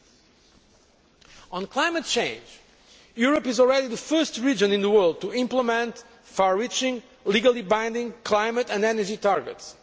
Concerning climate change, Europe is already the first region in the world to implement far reaching, legally binding climate and energy targets.